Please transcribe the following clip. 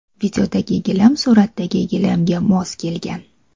Videodagi gilam suratdagi gilamga mos kelgan.